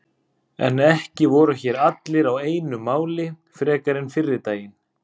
En ekki voru hér allir á einu máli frekar en fyrri daginn.